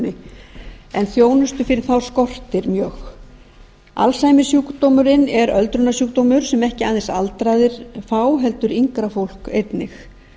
öldrunarþjónustunni en þjónustu fyrir þá skortir mjög alzheimersjúkdómurinn er sjúkdómur sem ekki aðeins aldraðir fá heldur yngra fólk einnig